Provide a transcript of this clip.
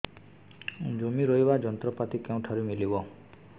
ଜମି ରୋଇବା ଯନ୍ତ୍ରପାତି କେଉଁଠାରୁ ମିଳିବ